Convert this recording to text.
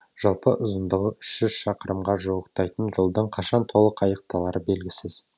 жалпы ұзындығы үшь жүз шақырымға жуықтайтын жолдың қашан толық аяқталары белгісіз